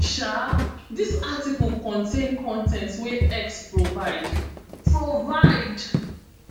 um dis article contain con ten t wey x provide provide